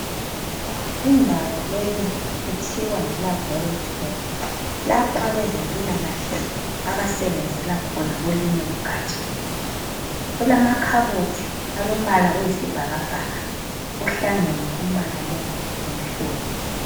indawo le kuthiwa yi laboratory laphoabezempilakahle abasebenzela khona kolunye ugaja kulama khabothi alompala eyisibhakabhaka kuhlangene umpala lo lomhlophe.